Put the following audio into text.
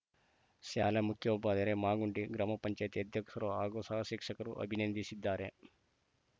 ಶಾಲೆ ಮುಖ್ಯೋಪಾಧ್ಯಾಯರು ಮಾಗುಂಡಿ ಗ್ರಾಮ ಪಂಚಾಯಿತಿ ಅಧ್ಯಕ್ಷರು ಹಾಗೂ ಸಹ ಶಿಕ್ಷಕರು ಅಭಿನಂದಿಸಿದ್ದಾರೆ